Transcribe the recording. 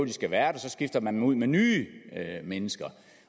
skal være der så skifter man dem ud med nye mennesker